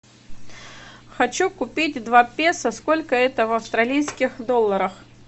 хочу купить два песо сколько это в австралийских долларах